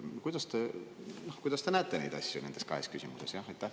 Kuidas te näete neid asju nende kahe küsimuse puhul?